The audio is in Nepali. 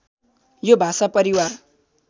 यो भाषा परिवार